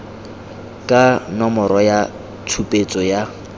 ka nomoro ya tshupetso ya